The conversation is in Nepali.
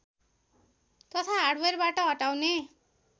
तथा हार्डवेयरबाट हटाउने